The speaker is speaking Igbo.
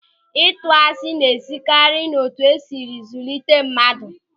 Ịtụ asị na-esikarị n'etu esiri zụlite mmadụ.